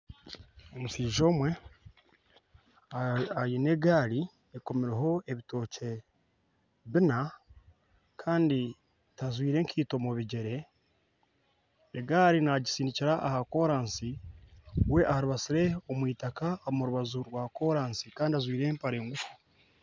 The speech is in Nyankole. Omushaija omwe aine egaari ekomireho ebitookye biina kandi tajwaire nkaito mu bigyere egaari naagitsindikira aha kooransi we arubatsire omu itaka omu rubaju rwa koorasi kandi ajwaire empara nguufu